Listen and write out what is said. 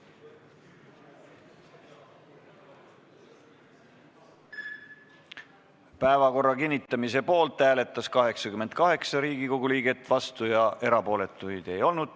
Hääletustulemused Päevakorra kinnitamise poolt hääletas 88 Riigikogu liiget, vastuolijaid ega erapooletuid ei olnud.